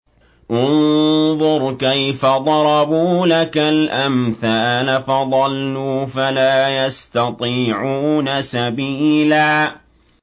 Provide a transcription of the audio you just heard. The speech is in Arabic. انظُرْ كَيْفَ ضَرَبُوا لَكَ الْأَمْثَالَ فَضَلُّوا فَلَا يَسْتَطِيعُونَ سَبِيلًا